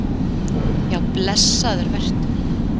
Já, blessaður vertu.